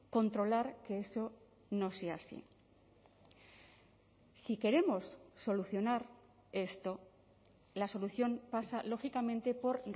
controlar que eso no sea así si queremos solucionar esto la solución pasa lógicamente por